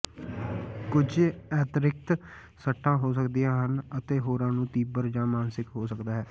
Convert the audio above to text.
ਕੁਝ ਅਿਤਿਰਕਤ ਸੱਟਾਂ ਹੋ ਸਕਦੀਆਂ ਹਨ ਅਤੇ ਹੋਰਾਂ ਨੂੰ ਤੀਬਰ ਜਾਂ ਮਾਨਸਿਕ ਹੋ ਸਕਦਾ ਹੈ